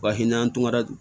Bahi n'an tora dun